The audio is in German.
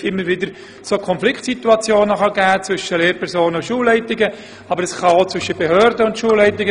Tatsächlich gibt es immer wieder Konfliktsituationen zwischen Lehrpersonen und Schulleitungen oder auch zwischen Behörden und Schulleitungen.